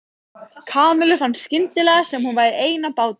Kamillu fannst skyndilega sem hún væri ein á báti.